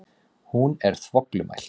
Hún er þvoglumælt.